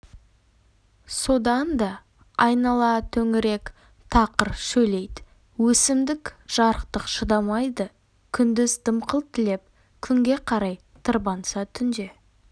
содан да айнала төңірек тақыр шөлейт өсімдік жарықтық шыдамайды күндіз дымқыл тілеп күнге қарай тырбанса түнде